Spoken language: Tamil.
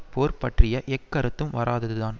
போர் பற்றிய எக்கருத்தும் வராததுதான்